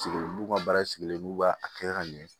Sigi n'u ka baara sigilen n'u b'a a kɛ ka ɲɛ